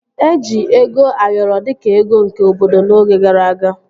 Eji ego Ayoro dịka ego nke obodo n'oge gara aga